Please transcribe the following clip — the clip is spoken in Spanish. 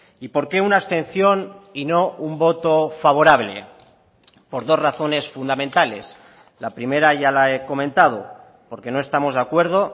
y por qué una abstención y no un voto favorable por dos razones fundamentales la primera ya la he comentado porque no estamos de acuerdo